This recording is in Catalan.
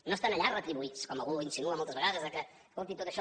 no estan allà retribuïts com algú insinua moltes vegades que escolti tot això